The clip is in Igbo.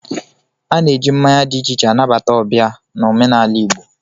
A na-eji mmanya dị iche iche anabata ọbịa n'omenala Igbo